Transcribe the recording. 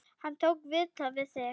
Hann tók viðtal við þig?